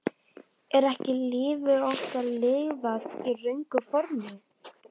Er ekki lífi okkar lifað í röngu formi?